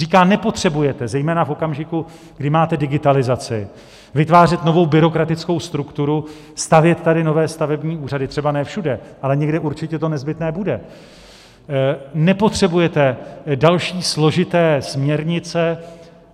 Říká: Nepotřebujete, zejména v okamžiku, kdy máte digitalizaci, vytvářet novou byrokratickou strukturu, stavět tady nové stavební úřady - třeba ne všude, ale někde určitě to nezbytné bude, nepotřebujete další složité směrnice.